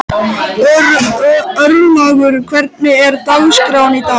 Örlaugur, hvernig er dagskráin í dag?